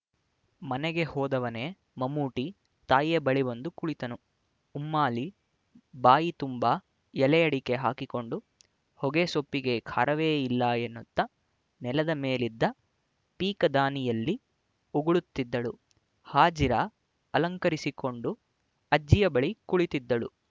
ಮನೆಗೆ ಹೋದವನೇ ಮಮ್ಮೂಟಿ ತಾಯಿಯ ಬಳಿ ಬಂದು ಕುಳಿತನು ಉಮ್ಮಾಲಿ ಬಾಯಿ ತುಂಬಾ ಎಲೆಯಡಿಕೆ ಹಾಕಿಕೊಂಡು ಹೊಗೆ ಸೊಪ್ಪಿಗೆ ಖಾರವೇ ಇಲ್ಲ ಎನ್ನುತ್ತಾ ನೆಲದ ಮೇಲಿದ್ದ ಪೀಕದಾನಿಯಲ್ಲಿ ಉಗುಳುತ್ತಿದ್ದಳು ಹಾಜಿರಾ ಅಲಂಕರಿಸಿಕೊಂಡು ಅಜ್ಜಿಯ ಬಳಿ ಕುಳಿತಿದ್ದಳು